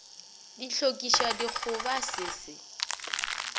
di hlokišwa dikgoba se se